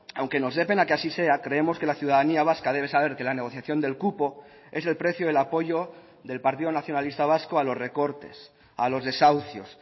aunque nos dé pena que así sea creemos que la ciudadanía vasca debe saber que la negociación del cupo es el precio del apoyo del partido nacionalista vasco a los recortes a los desahucios